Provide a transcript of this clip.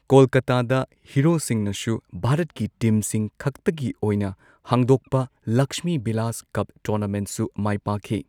ꯀꯣꯜꯀꯥꯇꯥꯗ ꯍꯤꯔꯣꯁꯤꯡꯅꯁꯨ ꯚꯥꯔꯠꯀꯤ ꯇꯤꯝꯁꯤꯡ ꯈꯛꯇꯒꯤ ꯑꯣꯏꯅ ꯍꯥꯡꯗꯣꯛꯄ ꯂꯛꯁꯃꯤꯕꯤꯂꯥꯁ ꯀꯞ ꯇꯣꯔꯅꯥꯃꯦꯟꯠꯁꯨ ꯃꯥꯏ ꯄꯥꯛꯈꯤ꯫